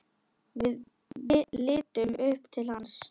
Við litum upp til hans.